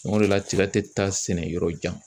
O de la tiga tɛ taa sɛnɛ yɔrɔ jan.